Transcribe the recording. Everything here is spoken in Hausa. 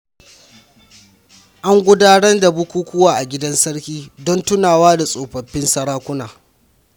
An gudanar da bukukuwa a gidan sarki don tunawa da tsofaffin sarakuna.